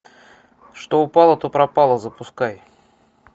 что упало то пропало запускай